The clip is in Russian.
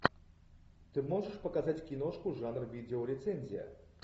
ты можешь показать киношку жанра видеорецензия